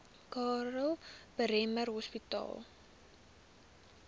karl bremer hospitaal